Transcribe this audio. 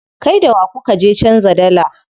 Kai da wa kuka je canza dalla?